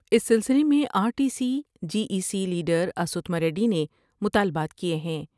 اس سلسلے میں RTC J A C lead راسو تھماریڈی نے مطالبات کئے ہیں ۔